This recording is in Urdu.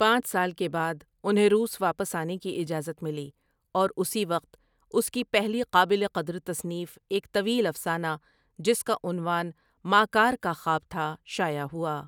پانچ سال کے بعد انہیں روس واپس آنے کی اجازت ملی اور اسی وقت اس کی پہلی قابلِ قدر تصنیف ایک طویل افسانہ جس کا عنوان ماکار کا خواب تھا شائع ہوا۔